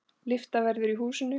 Lyfta verður í húsinu.